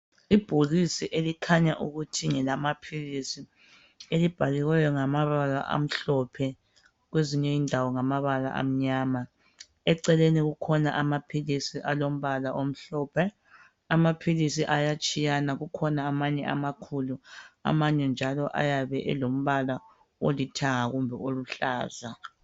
Ibhokisi elikhanya ukuthi ngelamaphilisi elibhaliweyo ngamabala amhlophe kwezinye indawo ngamabala amnyama. Eceleni kukhona amaphilisi alombala omhlophe. Amaphilisi ayatshiyana kukhona amanye amakhulu amanye njalo ayabe elombala olithanga kumbe oluhlaza.